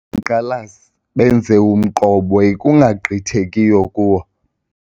Abaqhankqalazi benze umqobo ekungagqithekiyo kuwo.